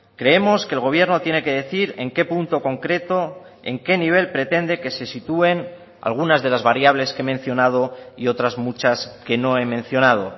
creemos que el gobierno tiene que decir en qué punto concreto en qué nivel pretende que se sitúen algunas de las variables que he mencionado y otras muchas que no he mencionado